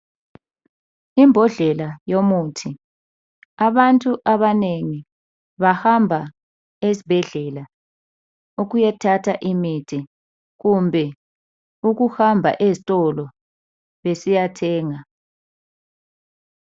Imbodlela yomuthi abantu abanengi bahamba esibhedlela ukuyethatha imithi kumbe ukuhamba ezitolo besiyathenga.